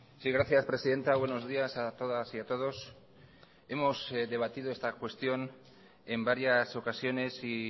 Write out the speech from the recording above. sí gracias presidenta buenos días a todas y a todos hemos debatido esta cuestión en varias ocasiones y